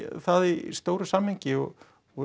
það í stóra samhenginu og og